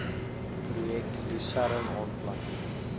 projek lusern aanplanting